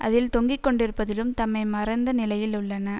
அதில் தொங்கிக்கொண்டிருப்பதிலும் தம்மை மறந்த நிலையில் உள்ளன